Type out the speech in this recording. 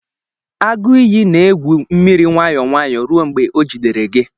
Agụ iyi na-egwu mmiri nwayọ nwayọ ruo mgbe ọ jidere gị.